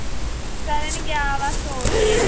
ਕਰਨ ਗਿਆ ਵਾ store ਤੇ